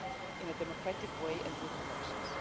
in a democratic way and with elections.